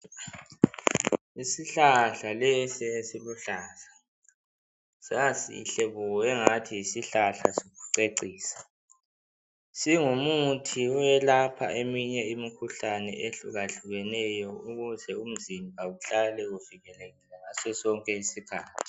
Isihlahla lesi esiluhlaza. Sasisihle bo, angathi yisihlahla sokucecisa. Singumuthi owelapha eminye imikhuhlane, ehlukahlukeneyo. Ukuze umzimba uhlale uvikelekile, ngaso sonke isikhathi.